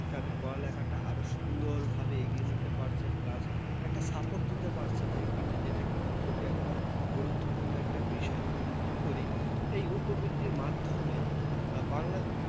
তাদের পড়ালেখাটা কিন্তু আরো সুন্দরভাবে এগিয়ে নিয়ে যেতে পারছে plus একটা support দিতে পারছি। যে কিনা যেটা কিনা খুবই একটা গুরুত্বপূর্ণ একটা বিষয় আমি মনে করি এই উপবৃত্তির মাধ্যমে বাংলা